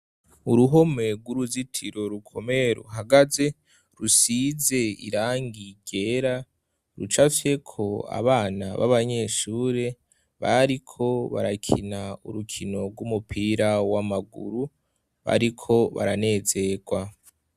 Uruhome rw'uruzitiro rumwe ruhagaze rusize irangi ryera, rucafyeko abana b'abanyeshure bariko barakina urukino rw'umupira w'amaguru. Bariko baranezerwa.